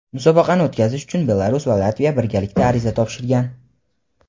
Musobaqani o‘tkazish uchun Belarus va Latviya birgalikda ariza topshirgan.